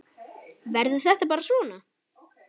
Verður þetta bara svona?